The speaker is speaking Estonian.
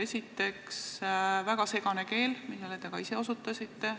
Esiteks, väga segane keel, millele ka teie osutasite.